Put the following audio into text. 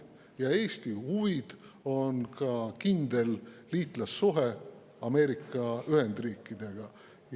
Ja Eesti huvi on ka kindel liitlassuhe Ameerika Ühendriikidega.